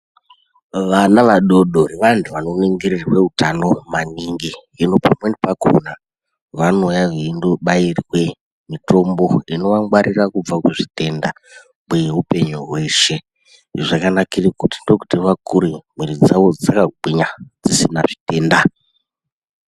Vana vadodori vantu vanoningirirwe utano maningi hino pamweni pakona vanouya veindobairwe mutombo unovagwarira kweupenyu hweshe zvakanakire ndokuti vakure mwiri dzavo dzakagwinya dzisina zvitenda.